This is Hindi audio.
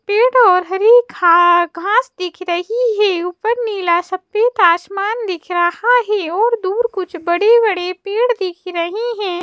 पेड़ और हरी का घास दिख रही है ऊपर नीला सफेद आसमान दिख रहा है और दूर कुछ बड़े-बड़े पेड़ दिख रही हैं।